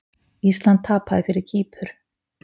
Ísland tapaði fyrir Kýpur